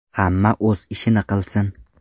Hamma o‘z ishini qilsin.